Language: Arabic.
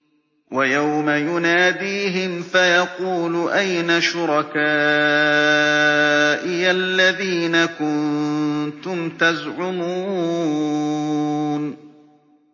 وَيَوْمَ يُنَادِيهِمْ فَيَقُولُ أَيْنَ شُرَكَائِيَ الَّذِينَ كُنتُمْ تَزْعُمُونَ